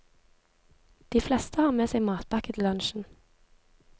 De fleste har med seg matpakke til lunsjen.